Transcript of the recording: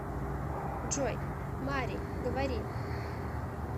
джой мари говори